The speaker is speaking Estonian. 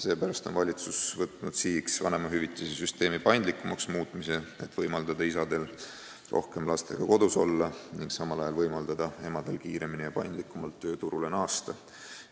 Seepärast on valitsus võtnud sihiks vanemahüvitise süsteemi paindlikumaks muutmise, et võimaldada isadel rohkem lastega kodus olla ning samal ajal võimaldada emadel kiiremini ja paindlikumalt tööturule naasta.